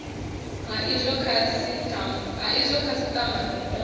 ha izwo khasitama i do